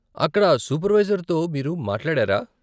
అక్కడ సూపర్వైజర్తో మీరు మాట్లాడారా?